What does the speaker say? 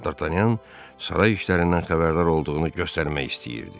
Dartanyan saray işlərindən xəbərdar olduğunu göstərmək istəyirdi.